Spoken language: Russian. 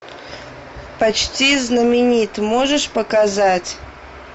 почти знаменит можешь показать